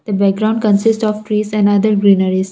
the background consist of trees and other greenaries.